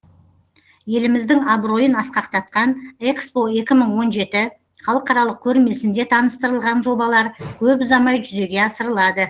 еліміздің абыройын асқақтатқан экспо екі мың он жеті халықаралық көрмесінде таныстырылған жобалар көп ұзамай жүзеге асырылады